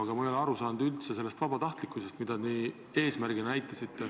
Aga ma ei ole üldse aru saanud sellest vabatahtlikkusest.